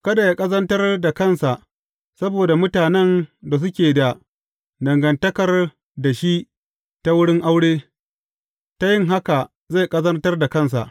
Kada yă ƙazantar da kansa saboda mutanen da suke da dangantakar da shi ta wurin aure, ta yin haka zai ƙazantar da kansa.